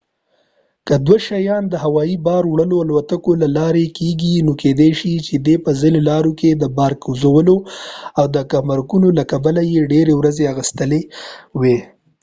که دوی شیان د هوایي بار وړلو الوتکې له لارې لیږلي وي نو کيدې شي چې دې په ځینو لارو کې د بار کوزولو او ګمرکونو له کبله يې ډیرې ورځې اخيستې وي